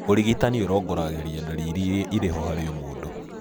ũrigitani ũrongoragĩria ndariri irĩa irĩho harĩ o mũndũ